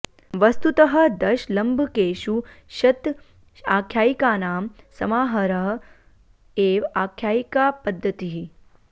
वस्तुतः दश लम्भकेषु शत आख्यायिकानां समाहारः एव आख्यायिकापद्धतिः